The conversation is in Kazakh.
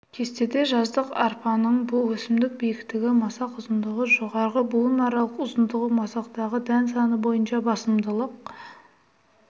кесте жаздық арпа будандарының өсімдік биіктігі масақ ұзындығы жоғарғы буынаралықтың ұзындығы масақтағы дән саны бойынша басымдылық